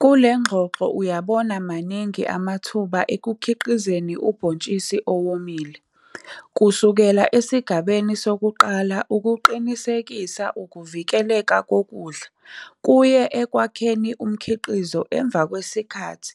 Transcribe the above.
Kule ngxoxo uyabona maningi amathuba ekukhiqizeni ubhontshisi owomile kusukela esigabeni sokuqala ukuqinisekisa ukuvikeleka kokudla kuye ekwakheni umkhiqizo emva kwesikhathi